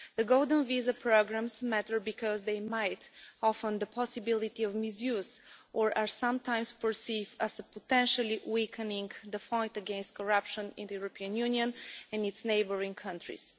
The golden visa programmes matter because they might offer the possibility of misuse or are sometimes perceived as potentially weakening the fight against corruption in the European Union and its neighbouring countries.